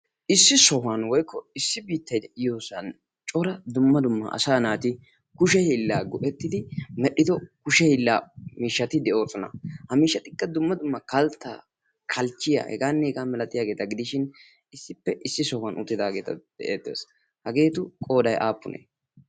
issi sohuwan woikko issi bitta iyoosan cora dumma dumma asa naati kushe hillaa go"ettidi medhdhido kushe hillaa miishshati de'oosona. ha miishatikka dumma dumma kaltta kalchchiya hegaann hegaa milatiyaageeta gidishin issippe issi sohuwan uttidaageeta de'ettees. hageetu qoodai aappune?